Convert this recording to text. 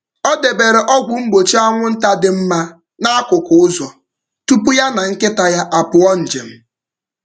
Ọ debere ọgwụ mgbochi anwụnta dị mma n’akụkụ ụzọ tupu ya na nkịta ya apụọ njem.